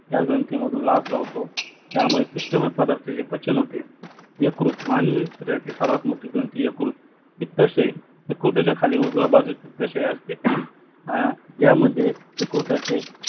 ज्या ग्रंथी मधून लाळ वाहते त्या मुठे पिस्टमाय प्रदाथाचे पचन होते यकृत मानवी यकृत ग्रंथीची सर्वात मोठी ग्रंथी यकृत पित्राशय यकृत्याच्या खाली उजव्या बाजूला पित्राशय असते यामध्ये यकृत्याचे